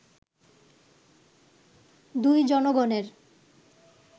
দুই জনগণের